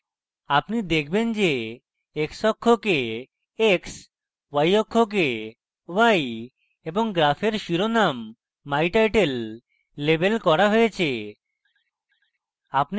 আপনি দেখবেন যে xঅক্ষকে x y অক্ষকে y এবং graph এর শিরোনাম my title my title label করা হয়েছে